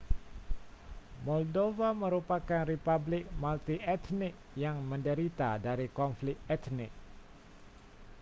moldova merupakan republik multietnik yang menderita dari konflik etnik